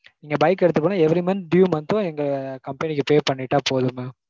நீங்க bike அ எடுத்துக்கனும் every month due மட்டும் எங்க company க்கு pay பண்ணிட்டா போதும் mam.